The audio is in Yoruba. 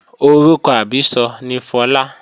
Orúkọ àbísọ ni Fọlá